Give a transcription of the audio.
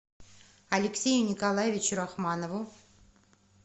алексею николаевичу рахманову